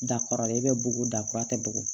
Da kɔrɔlen e bɛ bugu da kura tɛ bɔgɔ